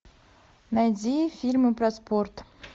найди фильмы про спорт